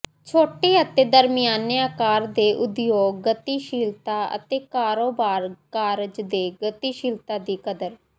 ਛੋਟੇ ਅਤੇ ਦਰਮਿਆਨੇ ਆਕਾਰ ਦੇ ਉਦਯੋਗ ਗਤੀਸ਼ੀਲਤਾ ਅਤੇ ਕਾਰੋਬਾਰ ਕਾਰਜ ਦੇ ਗਤੀਸ਼ੀਲਤਾ ਦੀ ਕਦਰ